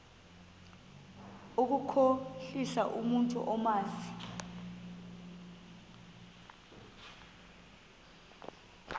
ukukhohlisa umntu omazi